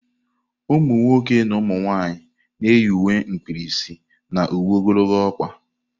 Umunwoke na umunwanyị na-eyi uwe mkpirisi na uwe ogologo ọkpa.